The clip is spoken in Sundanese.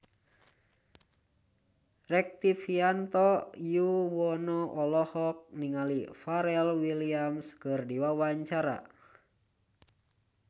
Rektivianto Yoewono olohok ningali Pharrell Williams keur diwawancara